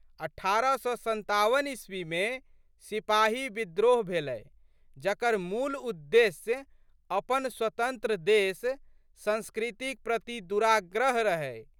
अठारह सए सन्ताबन ईस्वीमे सिपाही विद्रोह भेलै जकर मूल उद्देशय अपन स्वतंत्र देश, संस्कृतिक प्रति दुराग्रह रहै।